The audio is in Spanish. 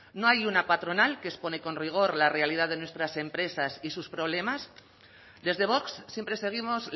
no hay una patronal que expone con rigor la realidad de nuestras empresas y sus problemas desde vox siempre seguimos